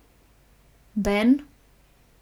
Ben?